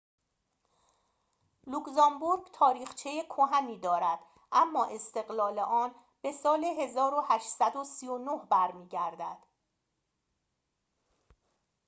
لوکزامبورگ تاریخچه کهنی دارد اما استقلال آن به سال ۱۸۳۹ برمی‌گردد